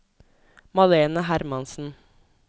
Malene Hermansen